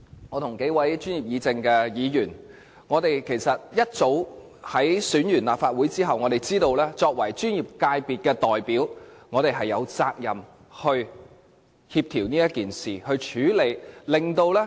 我跟幾位專業議政的議員，在立法會選舉結束後其實早已知道，我們作為專業界別的代表有責任協調和處理這事。